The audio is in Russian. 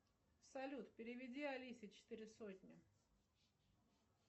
салют переведи алисе четыре сотни